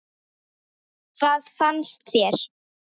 Hvað fannst þér?